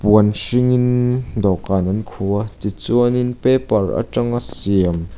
puan hringin dawhkan an khuh a tichuanin paper aṭanga siam.